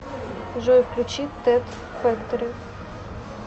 джой включи тед фэктори